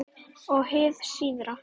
Og hið síðara